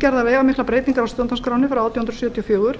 gerðar veigamiklar breytingar á stjórnarskránni frá átján hundruð sjötíu og fjögur